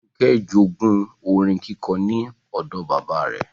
Fúnkẹ́ jogún orin kíkọ ní odò bàbáa rẹ.